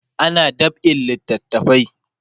ana dab'in littafai